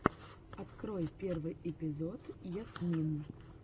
открой первый эпизод ясмин